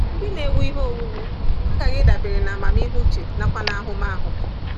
Ndị na-ewu ihe owuwu aghaghị ịdabere n’amamihe uche nakwa n’ahụmahụ.